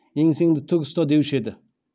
еңсеңді тік ұста деуші еді